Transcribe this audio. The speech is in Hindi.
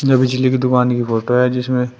जो बिजली की दुकान की फोटो है जिसमें--